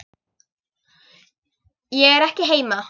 Ég er ekki heima.